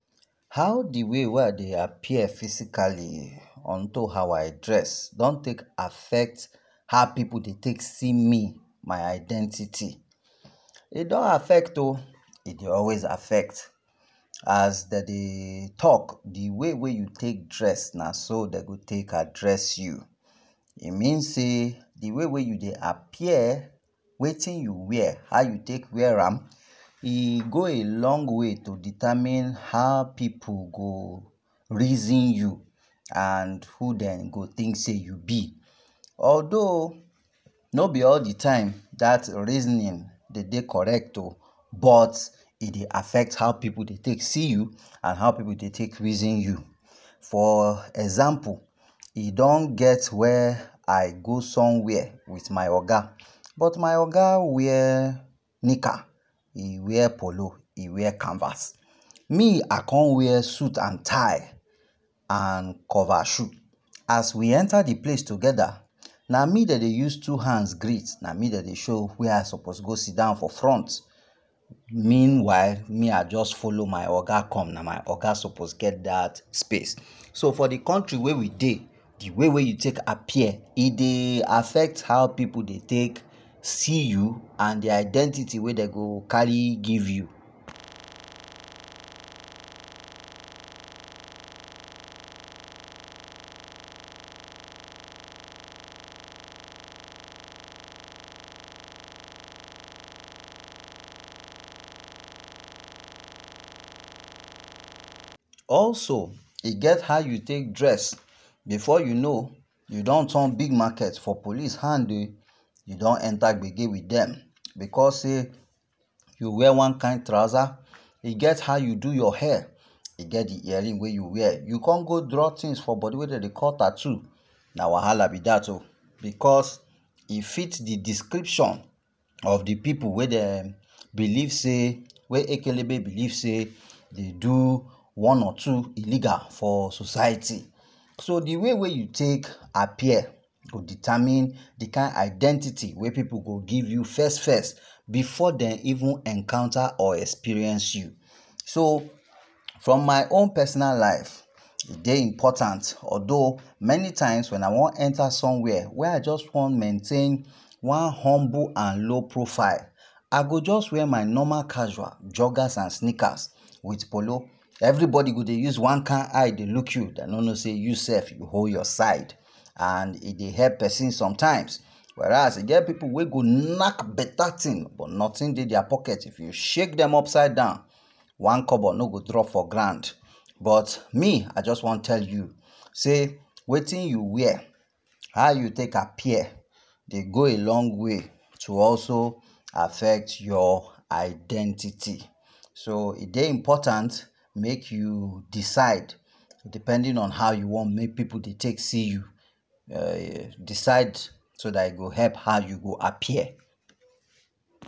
How d way wey I dey appear physically on to how I dress, dey take affect d way pipu dey see me, my identity, e don affect o, e dey always affect, as dem dey talk, d way wey you take dress naso dem go address you, e mean say d way wey u dey appear, wetin u wear and how u take wear am e go a long way to determine how pipu go reason you and who dem go think say u be, altho no b all d time dat reasoning dey dey correct o but e dey affect how pipu dey take see u and how pipu dey take reason you, for example e don get wey I go somewhere with my oga but my oga wear nikka e wear pollo, e waer canvas, me I con wear suit and tie and cover shoe as we enta d place togeda na me dem dey use two hands greet na me dem dey show where I suppose go sidon for front, meanwhile me I just follow my oga come, na my oga suppose get dat space, so for d country wey we dey d way wey u take appear e dey affect how pipu dey take see u and d identity wey dey go carry give you, also e get how u take dress before u know u don turn big market for police hand ehh, u don enta bege with dem, because sey u wear one kind trouser, e get how u do your hair u con go draw one thing wey dem dey call tattoo, na wahala b dat oh, because e fit d description of d pipu wey dem dey believe sey, wey ikelebe believe say dey do one or two illegal for society, so d way u take appear go determine d kind identity wey pipu go give u first first, before dem even encounter or experience u, so from my own personal life e dey important, altho many times wey I wan enta somewhere wey I just wan maintain, one humble, I go jus wear my normal casual, joggers and sneakers with polo, everybody go just dey use one kind eye dey look you, dem no no say u sef u hold yourside and e dey help persin sometime, whereas e get pipu wey go knack beta thing but nothing dey dia pocket if u shake dem upside down one kobo no go drop for ground, dats why me I jus wan tell u sey wetin u wear, how e go affect your identity, so e dey important make u decide depending on how u want make persin dey take see u, e go help how u go appear.